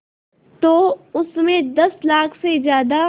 तो उस में दस लाख से ज़्यादा